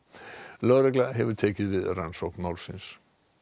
lögregla hefur nú tekið við rannsókn málsins